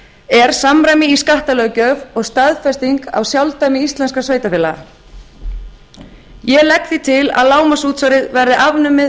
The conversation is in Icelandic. er samræmi í skattalöggjöf og staðfesting á sjálfdæmi íslenskra sveitarfélaga ég legg því til að lágmarksútsvarið verði afnumið